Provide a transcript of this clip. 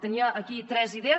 tenia aquí tres idees